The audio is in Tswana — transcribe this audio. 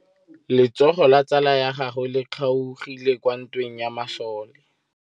Letsôgô la tsala ya gagwe le kgaogile kwa ntweng ya masole.